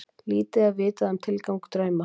Lítið er vitað um tilgang drauma.